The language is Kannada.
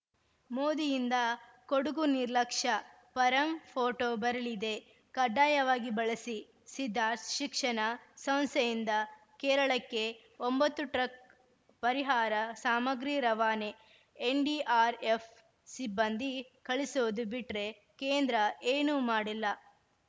ಮೋದಿಯಿಂದ ಕೊಡುಗು ನಿರ್ಲಕ್ಷ್ಯ ಪರಂ ಫೋಟೋ ಬರಲಿದೆ ಕಡ್ಡಾಯವಾಗಿ ಬಳಸಿ ಸಿದ್ಧಾ ಶಿಕ್ಷಣ ಸಂಸ್ಥೆಯಿಂದ ಕೇರಳಕ್ಕೆ ಒಂಬತ್ತು ಟ್ರಕ್‌ ಪರಿಹಾರ ಸಾಮಗ್ರಿ ರವಾನೆ ಎನ್‌ಡಿಆರ್‌ಎಫ್‌ ಸಿಬ್ಬಂದಿ ಕಳಿಸೋದು ಬಿಟ್ರೆ ಕೇಂದ್ರ ಏನೂ ಮಾಡಿಲ್ಲ